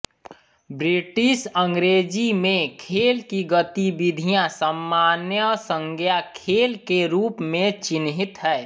British अंग्रेजी में खेल की गतिविधियाँ सामान्य संज्ञा खेल के रूप में चिह्नित हैं